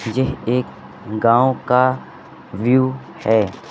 जेह एक गांव का व्यू है।